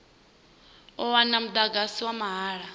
u wana mudagasi wa mahala